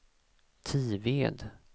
Tived